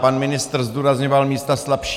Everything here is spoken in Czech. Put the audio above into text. Pan ministr zdůrazňoval místa slabší.